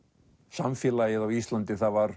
samfélagið á Íslandi var